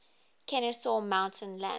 kenesaw mountain landis